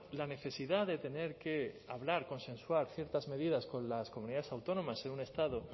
la necesidad de tener que hablar consensuar ciertas medidas con las comunidades autónomas en un estado